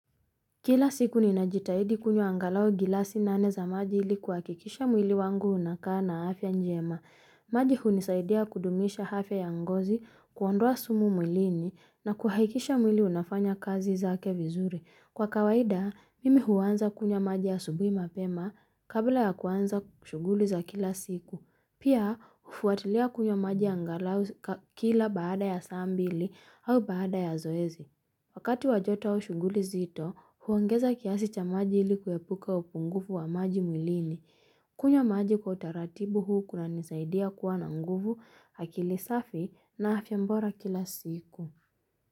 Kila siku ninajitahidi kunywa angalau gilasi nane za maji ili kuhakikisha mwili wangu unakaa na afya njema maji hunisaidia kudumisha afya ya ngozi kuondoa sumu mwilini na kuhahikisha mwili unafanya kazi zake vizuri Kwa kawaida mimi huanza kunywa maji asubuhi mapema kabla ya kuanza kushughuli za kila siku Pia hufuatilia kunywa maji angalau kila baada ya saa mbili au baada ya zoezi Wakati wa joto au shunguli nzito, huangeza kiasi cha maji ili kuepuka upungufu wa maji mwilini. Kunywa maji kwa utaratibu huu kunanisaidia kuwa na nguvu akili safi na afya bora kila siku.